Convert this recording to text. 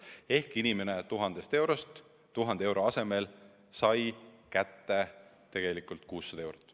Seega inimene 1000 euro asemel sai kätte 600 eurot.